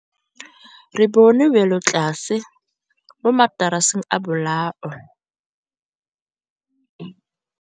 Re bone wêlôtlasê mo mataraseng a bolaô.